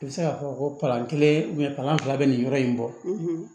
I bɛ se k'a fɔ ko kalan kelen kalan fila bɛ nin yɔrɔ in kɔ